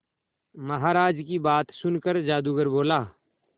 महाराज की बात सुनकर जादूगर बोला